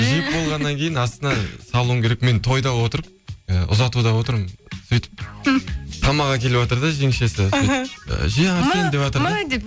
жеп болғаннан кейін астына салуың керек мен тойда отырып і ұзатуда отырмын сөйтіп тамақ әкеліватыр да жеңешесі іхі же арсен деватыр да мә деп